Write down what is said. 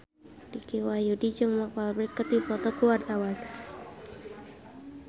Dicky Wahyudi jeung Mark Walberg keur dipoto ku wartawan